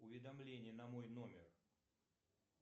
уведомление на мой номер